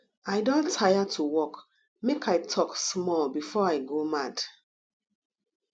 i don tire to work make i talk small before i go mad